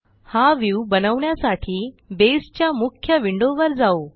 हा व्ह्यू बनवण्यासाठी बेसच्या मुख्य विंडोवर जाऊ